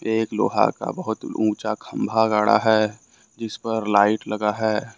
एक लोहा का बहुत ऊंचा खंभा गाढ़ा है जिस पर लाइट लगा है।